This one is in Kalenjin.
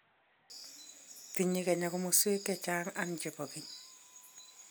Tinyei kenya komosweek che chang and che bo keny.